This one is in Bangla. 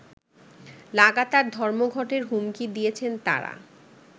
লাগাতার ধর্মঘটের হুমকি দিয়েছেন তারা